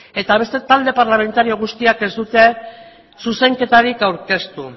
eta beste talde parlamentario guztiak ez dute zuzenketarik aurkeztu